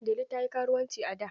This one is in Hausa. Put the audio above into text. Delu ta yi karuwanci a da.